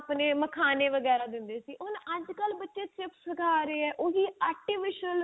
ਆਪਣੇ ਮਖਾਣੇ ਵਗੇਰੇ ਦਿੰਦੇ ਸੀ ਹੁਣ ਅੱਜ ਕੱਲ ਬੱਚੇ ਸਿਰਫ chips ਖਾ ਰਹੇ ਹੈ ਉਹੀ artificial